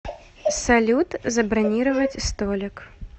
салют забронировать столик